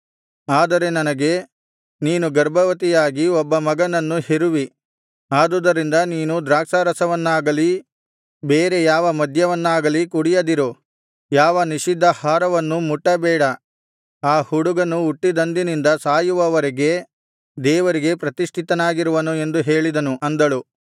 ಆದರೆ ನನಗೆ ನೀನು ಗರ್ಭವತಿಯಾಗಿ ಒಬ್ಬ ಮಗನನ್ನು ಹೆರುವಿ ಆದುದರಿಂದ ನೀನು ದ್ರಾಕ್ಷಾರಸವನ್ನಾಗಲಿ ಬೇರೆ ಯಾವ ಮದ್ಯವನ್ನಾಗಲಿ ಕುಡಿಯದಿರು ಯಾವ ನಿಷಿದ್ಧಾಹಾರವನ್ನೂ ಮುಟ್ಟಬೇಡ ಆ ಹುಡುಗನು ಹುಟ್ಟಿದಂದಿನಿಂದ ಸಾಯುವ ವರೆಗೆ ದೇವರಿಗೆ ಪ್ರತಿಷ್ಠಿತನಾಗಿರುವನು ಎಂದು ಹೇಳಿದನು ಅಂದಳು